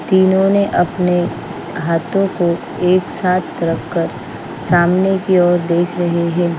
तीनों ने अपने हाथों को एक साथ रखकर सामने की ओर देख रही है।